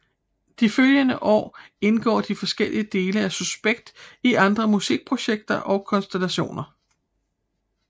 De følgende år indgår de forskellige dele af Suspekt i andre musikprojekter og konstellationer